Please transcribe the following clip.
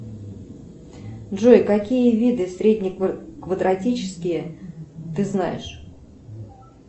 джой какие виды средне квадратические ты знаешь